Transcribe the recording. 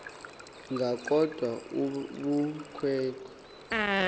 ngalo kodwa ubukhwe